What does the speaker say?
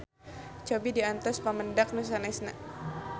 Cobi diantos pamendak nu sanesna.